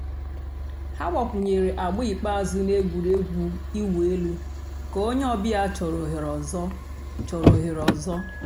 hà gbàkwùnyèrè àgbà ikpeazụ̀ nà ègwè́régwụ̀ ị̀wụ̀ èlù kà ònyè ọ̀ bịa chọ̀rọ̀ òhèrè òzò. chọ̀rọ̀ òhèrè òzò.